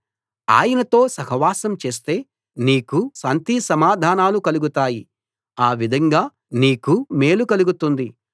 ఆయనతో సహవాసం చేస్తే నీకు శాంతిసమాధానాలు కలుగుతాయి ఆ విధంగా నీకు మేలు కలుగుతుంది